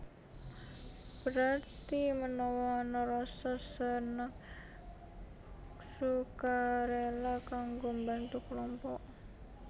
Berarti menawa ana rasa seneng ksukarela kanggo mbantu kelompok